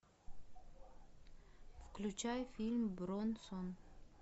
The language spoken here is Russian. включай фильм бронсон